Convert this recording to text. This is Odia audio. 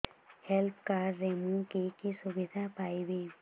ହେଲ୍ଥ କାର୍ଡ ରେ ମୁଁ କି କି ସୁବିଧା ପାଇବି